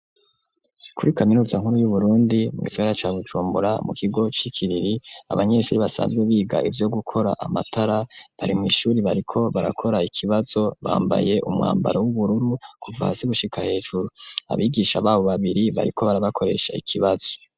Kuri kaminuza nkuru y'Uburundi, mu gisagara ca Bujumbura, mu kigo c'Ikiriri, abanyeshure basanzwe biga ivyo gukora amatara, bari mw'ishure bariko barakora ikibazo, bambaye umwambaro w'ubururu kuva hasi gushika hejuru. Abigisha b'abo babiri bariko barabakoresha ikibazo.